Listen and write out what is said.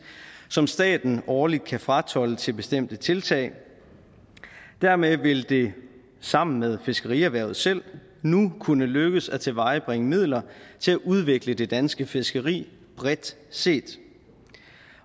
som staten årligt kan fratolde til bestemte tiltag dermed vil det sammen med fiskerierhvervet selv nu kunne lykkes at tilvejebringe midler til at udvikle det danske fiskeri bredt set